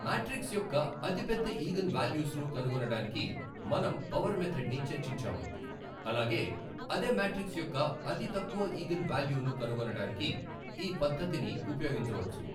Matrix యొక్క అతిపెద్ద eigen values ను కనుగొనడానికి మనం పవర్ మెధడ్ ని చర్చించాము అలాగే అదే మాట్రిక్స్ యొక్క అతి తక్కువ ఈగన్ వాల్యూను కనుగొనడానికి ఈ పద్ధతిని ఉపయోగించవచ్చు.